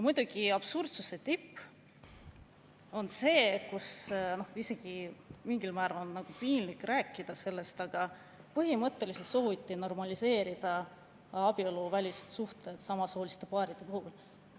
Muidugi on absurdsuse tipp see – sellest on isegi mingil määral nagu piinlik rääkida –, et põhimõtteliselt sooviti normaliseerida abieluvälised suhted samasooliste paaride puhul.